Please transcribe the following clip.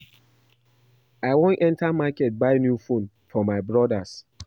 I wan enter market buy new phone for my brodas